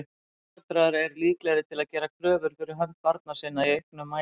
Foreldrar eru líklegir til að gera kröfur fyrir hönd barna sinna í auknum mæli.